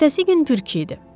Ertəsi gün pürkü idi.